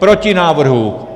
Proti návrhu.